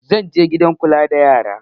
Zan je gidan kula da yara